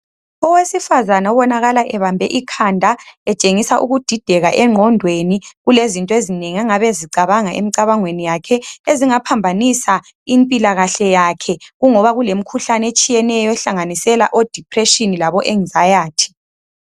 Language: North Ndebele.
Owesifazana obonakala ebambe ikhanda etshengisa ukudideka engqondweni, kulezinto ezinengi ongabe ezicabanga emcabangweni yakhe ezingaphambanisa impilakahle yakhe, kungoba kulemikhuhlane etshiyeneyo ehlanganisela o"depression" labo "enxiety".